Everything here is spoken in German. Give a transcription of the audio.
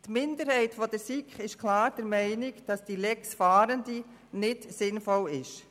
Die Minderheit der SiK ist klar der Meinung, dass diese «Lex Fahrende» nicht sinnvoll ist.